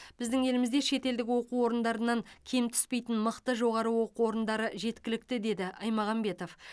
біздің елімізде шетелдік оқу орындарынан кем түспейтін мықты жоғары оқу орындары жеткілікті деді аймағамбетов